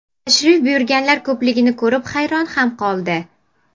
Tashrif buyurganlar ko‘pligini ko‘rib hayron ham qoldi.